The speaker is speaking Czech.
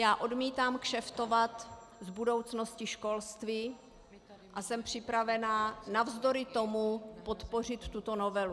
Já odmítám kšeftovat s budoucností školství a jsem připravena navzdory tomu podpořit tuto novelu.